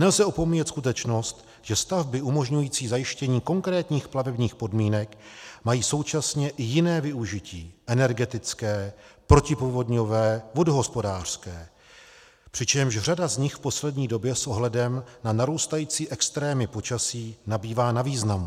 Nelze opomíjet skutečnost, že stavby umožňující zajištění konkrétních plavebních podmínek mají současně i jiné využití - energetické, protipovodňové, vodohospodářské, přičemž řada z nich v poslední době s ohledem na narůstající extrémy počasí nabývá na významu.